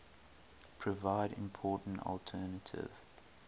provide important alternative